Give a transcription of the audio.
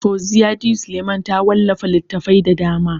Fauziyya D. Suleiman ta wallafa littatafai da dama.